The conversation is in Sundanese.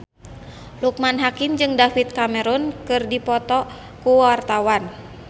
Loekman Hakim jeung David Cameron keur dipoto ku wartawan